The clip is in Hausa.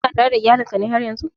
Kana tare da iyalin ka ne haryan zun?